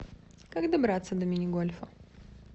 как добраться до мини гольфа